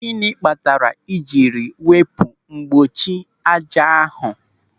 Gịnị kpatara i jiri wepụ mgbochi ájá ahụ?